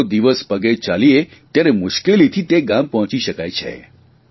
આખો દિવસ પગે ચાલીએ ત્યારે મુશ્કેલીથી તે ગામ પહોંચી શકાય છે